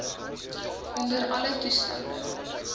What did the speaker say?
onder alle toestande